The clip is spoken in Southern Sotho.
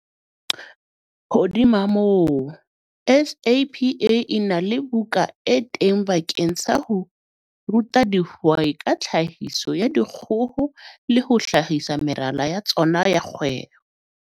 Hodima moo, SAPA e na le buka e teng bakeng sa ho ruta dihwai ka tlhahiso ya dikgoho le ho hlahisa meralo ya tsona ya kgwebo.